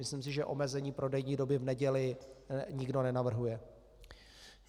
Myslím si, že omezení prodejní doby v neděli nikdo nenavrhuje.